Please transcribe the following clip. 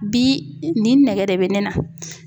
Bi nin nɛgɛ de bɛ ne na!